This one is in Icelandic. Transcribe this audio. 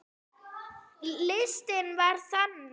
Listinn var þannig